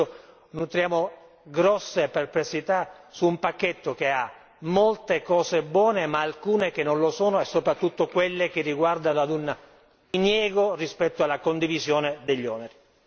Per questo esprimiamo grosse perplessità su un pacchetto che ha molte cose buone ma alcune che non lo sono e soprattutto quelle che riguardano ad un diniego rispetto alla condivisione degli oneri.